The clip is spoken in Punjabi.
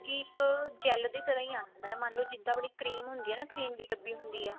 ਇੱਕ gel ਦੀ ਤਰ੍ਹਾਂ ਹੀ ਆਂਦਾ ਮੰਨਲੋ ਜਿੱਦਾਂ ਆਪਣੀ cream ਹੁੰਦੀ ਏ ਨਾ cream ਦੀ ਡੱਬੀ ਹੁੰਦੀ ਆ